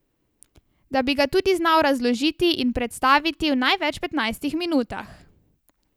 Da bi ga tudi znal razložiti in predstaviti v največ petnajstih minutah.